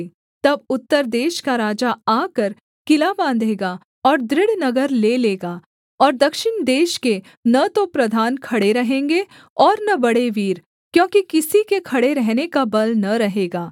तब उत्तर देश का राजा आकर किला बाँधेगा और दृढ़ नगर ले लेगा और दक्षिण देश के न तो प्रधान खड़े रहेंगे और न बड़े वीर क्योंकि किसी के खड़े रहने का बल न रहेगा